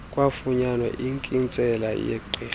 kwafunyanwa inkintsela yegqirha